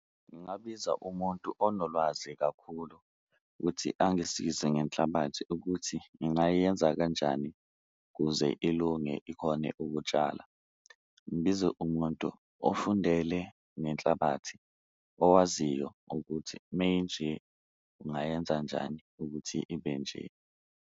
Ngingabiza umuntu onolwazi kakhulu ukuthi angisize ngenhlabathi ukuthi ngingayenza kanjani kuze ilunge ikhone ukutshala, ngibize umuntu ofundele ngenhlabathi owaziyo ukuthi meyinje ungayenza njani ukuthi ibe nje.